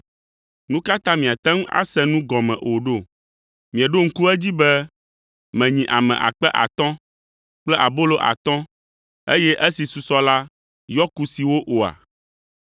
Nu ka ta miate ŋu ase nu gɔme o ɖo? Mieɖo ŋku edzi be menyi ame akpe atɔ̃ (5,000) kple abolo atɔ̃, eye esi susɔ la yɔ kusiwo oa?